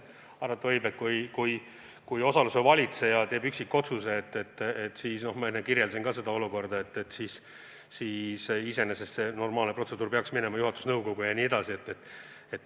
Arvata võib, et kui osaluse valitseja teeb üksikotsuse, siis – ma enne kirjeldasin ka seda olukorda – iseenesest see normaalse protseduuri kohaselt peaks minema juhatuse nõukogusse.